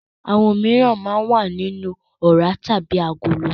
Òmíràn máa ń wà nínú ọ̀rá tàbí agolo.